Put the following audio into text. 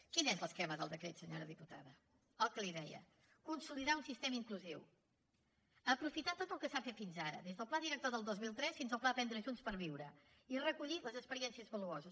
quin és l’esquema del decret senyora diputada el que li deia consolidar un sistema inclusiu aprofitar tot el que s’ha fet fins ara des del pla director del dos mil tres fins al pla aprendre junts per viure i recollir les experiències valuoses